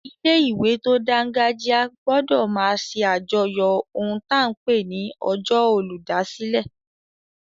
Ilé-ìwé tó dángájíá gbọdọ̀ máa ṣe àjọyọ̀ ohun ta n pè ní ọjọ́ olùdásílẹ̀